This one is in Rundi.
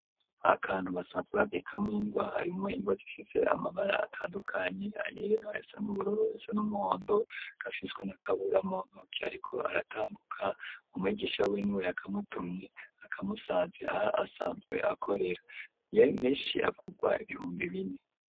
Akantu, basanzwe babikamwo, ingwa, harimwo ingwa, zifise amabara, atandukanye; ayera, ayasa n'ubururu, ayasa n'umuhondo; gafiswe na Kabura, mu ntoke, ariko aratambuka, umwigisha, wiwe, ni we yakamutumye, akamusanze aho, asanzwe akorera, menshi agugwa, ibihumbi bine.